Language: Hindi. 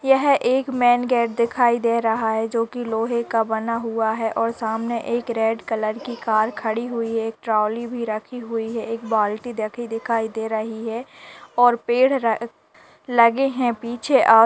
यह एक मेन गेट दिखाई दे रही है जो कि लोहे बना है और सामने रेड कलर कि कार खड़ी हुई है। एक ट्रॉली भी रखी हुई है। बाल्टी भी रखी दिखाई दे रहा है और पेड़ लगे हैं पीछे और--